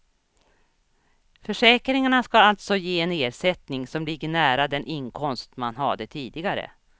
Försäkringarna ska alltså ge en ersättning som ligger nära den inkomst man hade tidigare.